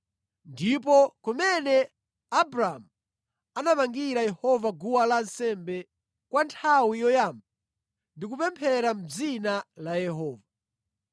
ndiponso kumene Abramu anamangira Yehova guwa lansembe kwa nthawi yoyamba ndi kupemphera mʼdzina la Yehova.